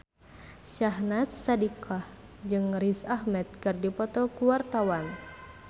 Syahnaz Sadiqah jeung Riz Ahmed keur dipoto ku wartawan